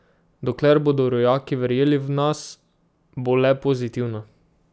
Dokler bodo rojaki verjeli v nas, bo le pozitivno.